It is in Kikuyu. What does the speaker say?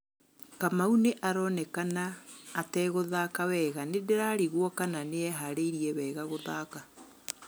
Kamau nĩ aronekana ategũthaka wega, níndírarigwo kana níareharíirie wega gúthaka.